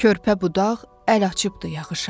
Körpə budaq əl açıbdır yağışa.